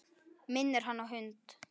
Minnir hann á hund.